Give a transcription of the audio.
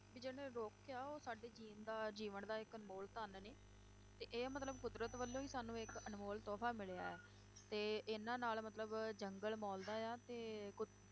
ਵੀ ਜਿਹੜੇ ਰੁੱਖ ਆ ਉਹ ਸਾਡੇ ਜਿਉਣ ਦਾ ਜੀਵਨ ਦਾ ਇੱਕ ਅਨਮੋਲ ਧਨ ਨੇ, ਤੇ ਇਹ ਮਤਲਬ ਕੁਦਰਤ ਵੱਲੋਂ ਹੀ ਸਾਨੂੰ ਇੱਕ ਅਨਮੋਲ ਤੋਹਫਾ ਮਿਲਿਆ ਹੈ, ਤੇ ਇਨ੍ਹਾਂ ਨਾਲ ਮਤਲਬ ਜੰਗਲ ਮੌਲਦਾ ਹੈ ਤੇ ਕੁਦ~